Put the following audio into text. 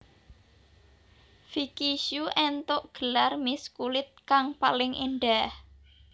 Vicky Shu éntuk gelar Miss kulit kang paling endah